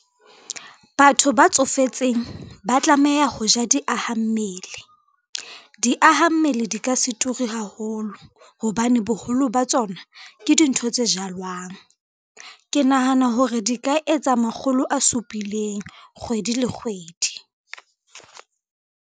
Batho ba tsofetseng ba tlameha ho ja diaha mmele. Diaha mmele di ka se turi haholo, hobane boholo ba tsona ke dintho tse jalwang. Ke nahana hore di ka etsa makgolo a supileng kgwedi le kgwedi.